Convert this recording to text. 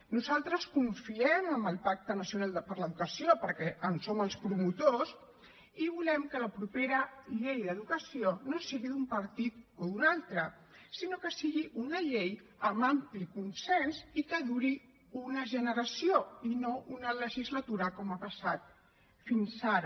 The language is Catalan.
nosaltres confiem en el pacte nacional per a l’educació perquè en som els promotors i volem que la propera llei d’educació no sigui d’un partit o d’un altre sinó que sigui una llei amb ampli consens i que duri una generació i no una legislatura com ha passat fins ara